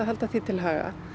halda því til haga